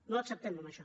no ho acceptem això